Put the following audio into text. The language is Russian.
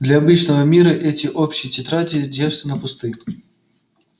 для обычного мира эти общие тетради девственно пусты